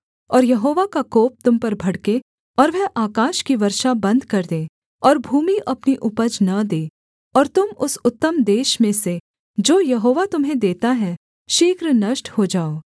और यहोवा का कोप तुम पर भड़के और वह आकाश की वर्षा बन्द कर दे और भूमि अपनी उपज न दे और तुम उस उत्तम देश में से जो यहोवा तुम्हें देता है शीघ्र नष्ट हो जाओ